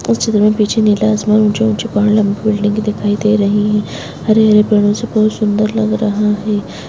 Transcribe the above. इस चित्र में पीछे नीला आसमान ऊँचे ऊँचे पहाड़ लम्बी बिल्डिंगे दिखाई दे रही हैं हरे हरे पेड़ों से बहोत सुन्दर लग रहा है।